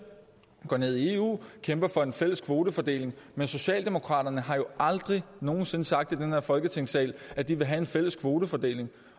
går ned i eu og kæmper for en fælles kvotefordeling men socialdemokraterne har jo aldrig nogen sinde sagt i den her folketingssal at de vil have en fælles kvotefordeling